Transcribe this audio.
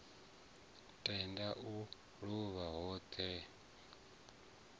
tende u luvha ho ḓo